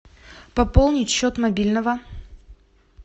пополнить счет мобильного